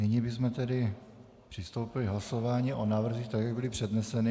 Nyní bychom tedy přistoupili k hlasování o návrzích tak, jak byly předneseny.